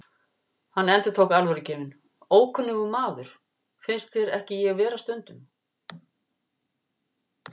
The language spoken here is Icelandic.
Hann endurtók, alvörugefinn: Ókunnugur maður, finnst þér ekki ég vera stundum?